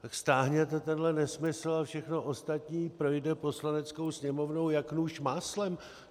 Tak stáhněte tenhle nesmysl a všechno ostatní projde Poslaneckou sněmovnou jak nůž máslem.